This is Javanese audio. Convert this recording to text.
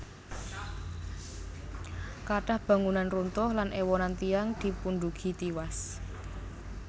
Kathah bangunan runtuh lan éwonan tiyang dipundugi tiwas